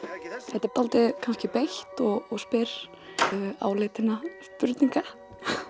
er dálítið beitt og spyr áleitinna spurninga